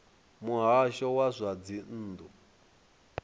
muhasho wa zwa dzinn ḓu